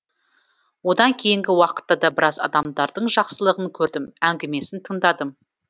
одан кейінгі уақытта да біраз адамдардың жақсылығын көрдім әңгімесін тыңдадым